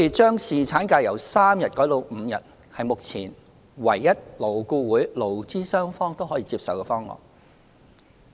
將侍產假由3天改為5天，是目前勞顧會勞資雙方唯一可以接受的方案。